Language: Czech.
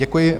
Děkuji.